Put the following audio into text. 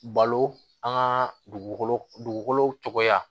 Balo an ka dugukolo dugukolo dugukolow tɔgɔ